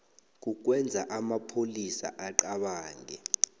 kukwenza amapholisa acabange